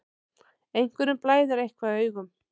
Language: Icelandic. Einhverjum blæðir eitthvað í augum